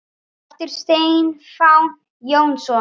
eftir Stefán Jónsson